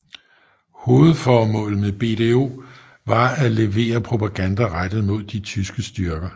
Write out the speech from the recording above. Hovedformålet med BDO var at levere propaganda rettet mod de tyske styrker